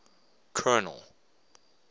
colonel